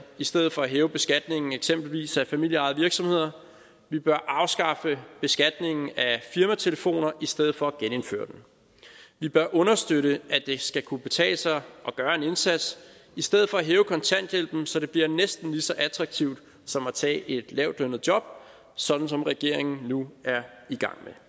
i stedet for at hæve beskatningen eksempelvis af familieejede virksomheder vi bør afskaffe beskatningen af firmatelefoner i stedet for at genindføre den vi bør understøtte at det skal kunne betale sig at gøre en indsats i stedet for at hæve kontanthjælpen så det bliver næsten lige så attraktivt som at tage et lavtlønnet job sådan som regeringen nu er i gang